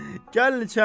Gəlin içəri.